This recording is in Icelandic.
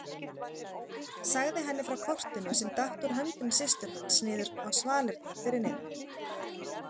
Sagði henni frá kortinu sem datt úr höndum systur hans niður á svalirnar fyrir neðan.